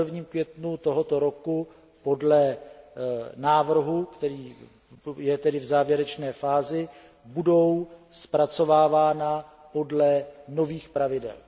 1. květnu tohoto roku podle návrhu, který je v závěrečné fázi, budou zpracovávány podle nových pravidel.